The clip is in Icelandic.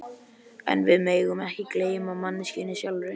En við megum ekki gleyma manneskjunni sjálfri.